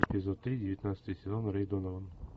эпизод три девятнадцатый сезон рэй донован